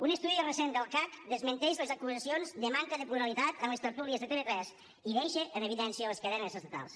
un estudi recent del cac desmenteix les acusacions de manca de pluralitat en les tertúlies de tv3 i deixa en evidència les cadenes estatals